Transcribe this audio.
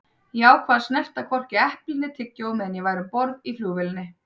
Ég ákvað að snerta hvorki epli né tyggjó meðan ég væri um borð í flugvélinni.